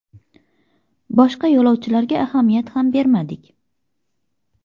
Boshqa yo‘lovchilarga ahamiyat ham bermadik.